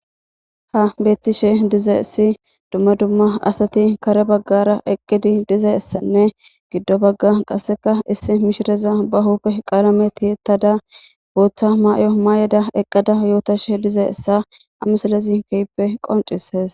Ha bettishe diza issi dumma dumma asati kare baggara eqqidi diza issanne giddo bagga qasseka issi mishireza bahuppe qalameti ttada booththa may7o mayeda eqqada yootashe dize issa amisalezi kehppe qoncisees